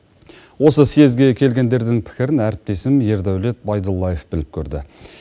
осы съезге келгендердің пікірін әріптесім ердаулет байдуллаев біліп көрді